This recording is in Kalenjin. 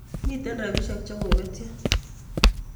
Miten rapishek chekobetyo